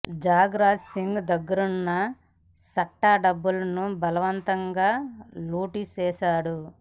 jug Raj Singh దగ్గరున్న సట్టా డబ్బులను బలవంతంగా లూటీ చేశాడు